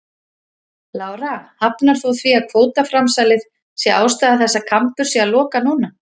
Lára: Hafnar þú því að kvótaframsalið sé ástæða þess að Kambur sé að loka núna?